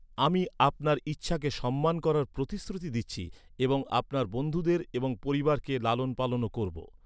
আমি আপনার ইচ্ছাকে সম্মান করার প্রতিশ্রুতি দিচ্ছি এবং আপনার বন্ধুদের এবং পরিবারকে লালন পালনও করব।